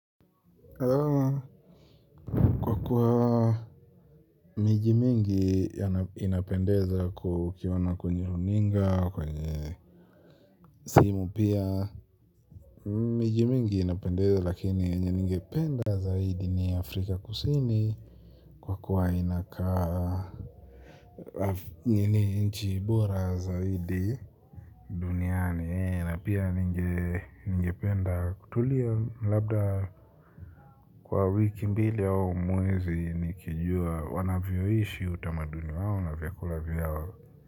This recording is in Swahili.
Kwa kuwa miji mingi inapendeza kukiona kwenye runinga kwenye simu pia miji mingi inapendeza lakini yenye ningependa zaidi ni afrika kus kwa kuwa inakaa ni nchi bora zaidi duniani ee na pia ningependa kutulia labda. Kwa wiki mbili aumwezi nikijua wanavyoishi utamaduni wao na vyakula vyao.